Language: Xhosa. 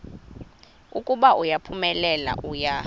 ukuba uphumelele uya